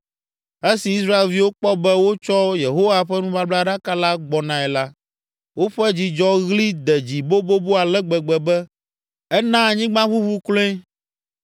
Esi Israelviwo kpɔ be wotsɔ Yehowa ƒe nubablaɖaka la gbɔnae la, woƒe dzidzɔɣli de dzi bobobo ale gbegbe be ena anyigba ʋuʋu kloe!